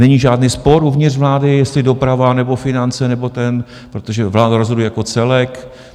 Není žádný spor uvnitř vlády, jestli doprava nebo finance nebo ten, protože vláda rozhoduje jako celek.